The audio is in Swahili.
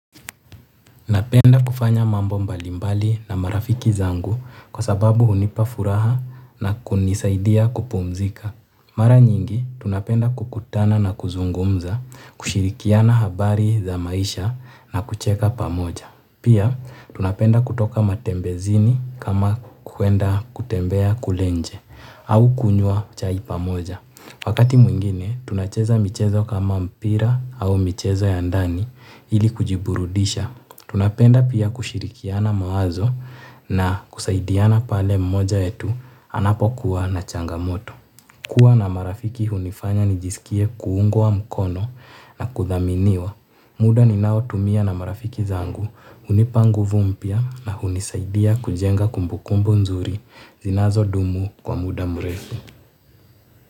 Napenda kufanya mambo mbalimbali na marafiki zangu kwa sababu hunipa furaha na kunisaidia kupumzika. Mara nyingi tunapenda kukutana na kuzungumza kushirikiana habari za maisha na kucheka pamoja. Pia, tunapenda kutoka matembezini kama kuenda kutembea kule nje au kunywa chai pamoja. Wakati mwingine, tunacheza michezo kama mpira au michezo ya ndani ili kujiburudisha. Tunapenda pia kushirikiana mawazo na kusaidiana pale mmoja wetu anapo kuwa na changamoto. Kua na marafiki hunifanya nijisikie kuungwa mkono na kudhaminiwa. Muda ninao tumia na marafiki zangu hunipa nguvu mpya na kunisaidia kujenga kumbukumbu nzuri zinazo dumu kwa muda mrefu.